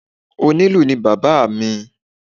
Onílù ni bàbá à mi.